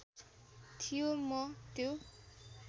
थियो म त्यो